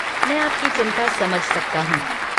मैं आपकी चिंता समझ सकता हूँ।